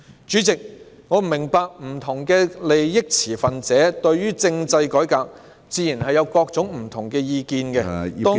主席，我明白不同持份者對政制改革會有不同意見，當中......